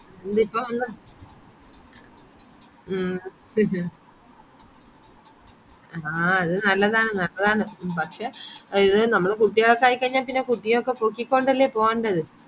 എന്തിപ്പോ വന്ന മ്മ് ആഹ് നല്ലതാണ് നല്ലതാണ് പക്ഷെ കുട്ടികളൊക്കെ ആയിരിക്കെ പിന്നാ കുട്ടിനൊക്കെ തൂകികൊണ്ടല്ലേ പോവേണ്ടത്